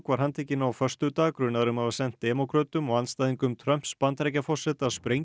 var handtekinn á föstudag grunaður um að hafa sent háttsettum demókrötum og andstæðingum Trumps Bandaríkjaforseta sprengjur